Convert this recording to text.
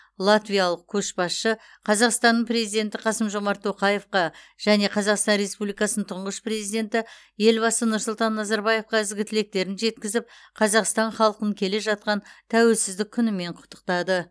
латвиялық көшбасшы қазақстанның президенті қасым жомарт тоқаевқа және қазақстан республикасының тұңғыш президенті елбасы нұрсұлтан назарбаевқа ізгі тілектерін жеткізіп қазақстан халқын келе жатқан тәуелсіздік күнімен құттықтады